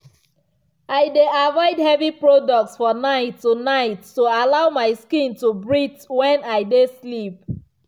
i dey avoid heavy products for night to night to allow my skin to breathe when i dey sleep.